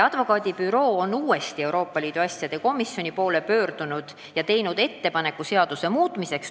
Advokaadibüroo on uuesti Euroopa Liidu asjade komisjoni poole pöördunud ja teinud ettepaneku seadust muuta.